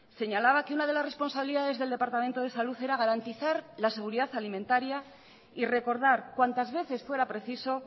señalaba que una de las responsabilidades del departamento de salud era garantizar la seguridad alimentaria y recordar cuantas veces fuera preciso